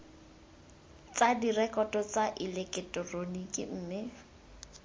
tsa direkoto tsa eleketeroniki mme